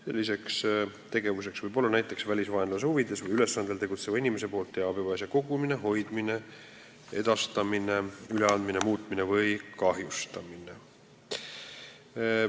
Selliseks tegevuseks võib olla näiteks välisvaenlase huvides või ülesandel tegutseva inimese poolt teabe või asja kogumine, hoidmine, edastamine, üleandmine, muutmine või kahjustamine.